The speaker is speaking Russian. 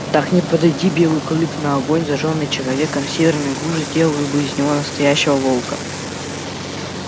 так не подойди белый клык на огонь зажжённый человеком северная глушь сделала бы из него настоящего волка